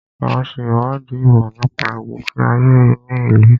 À ń ṣe ìwádìí ìmọ̀ nípa ìgbésí ayé ní ìlú.